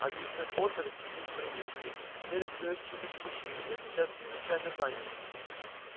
а мистер поттер мистер уизли дверь открылась чуточку шире я сейчас чрезвычайно занят